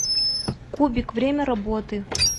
кубик время работы